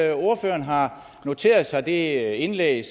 at ordføreren har noteret sig det indlæg